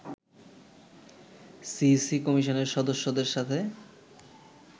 CEC কমিশনের সদস্যদের সাথে